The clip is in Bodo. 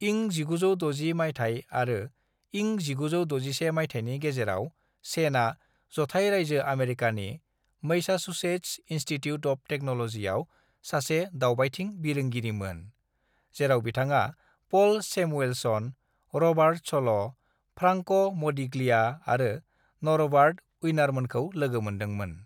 "इं1960 माइथाय आरो इं 1961 माइथाइनि गेजेराव, सेनआ जथाय रायजो अमेरिकानि मैसाचुसेट्स इनस्टीट्यूट अफ टेक्न'ल'जीआव सासे दावबायथिं बिरोंगिरिमोन, जेराव बिथाङा Paul Samuelson, Robert Solow, Franco Modigliani आरो नरबार्ट उईनारमोनखौ लोगोमोनदोंमोन।"